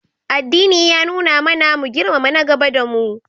Addini ya nuna mana mu girmama nagaba da mu.